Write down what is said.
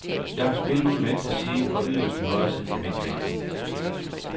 Jeg har spillet ude i venstre side og yderst i højre side på midtbanen.